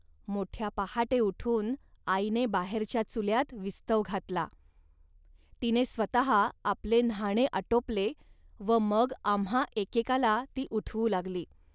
मोठ्या पहाटे उठून आईने बाहेरच्या चुल्यात विस्तव घातला. तिने स्वतः आपले न्हाणे आटोपले व मग आम्हां एकेकाला ती उठवू लागली